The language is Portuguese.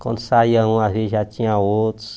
Quando saia um, às vezes já tinha outros.